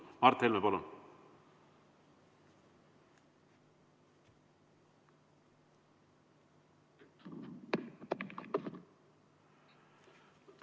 Mart Helme, palun!